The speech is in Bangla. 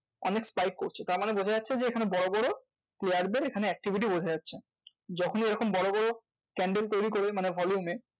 অনেক spike করছে। তার মানে বোঝা যাচ্ছে যে, এখানে বড়ো বড়ো player দের এখানে activity বোঝা যাচ্ছে। যখন এরকম বড়ো বড়ো candle তৈরী করে মানে volume এ,